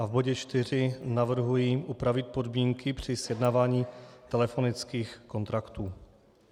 A v bodě 4 navrhuji upravit podmínky při sjednávání telefonických kontraktů.